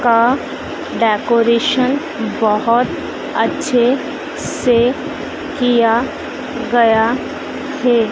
का डेकोरेशन बहोत अच्छे से किया गया है।